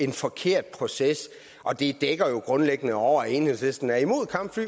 en forkert proces og det dækker jo grundlæggende over at enhedslisten er imod kampfly